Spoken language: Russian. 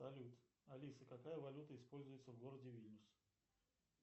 салют алиса какая валюта используется в городе вильнюс